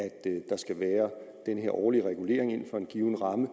der skal være den her årlige regulering inden for en given ramme